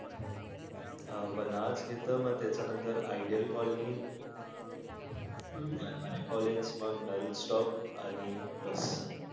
अह वनाज घेत म त्यानंतर, ideal colony दरवरे college मंग नल stop आणि बस